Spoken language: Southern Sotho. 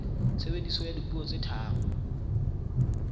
tshebediso ya dipuo tse tharo